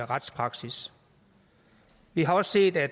retspraksis vi har også set at